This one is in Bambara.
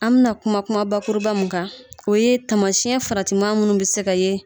An bɛna kuma kuma bakuruba mun kan o ye taamasiyɛn faratima minnu bɛ se ka ye